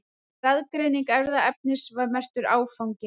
Raðgreining erfðaefnisins var merkur áfangi.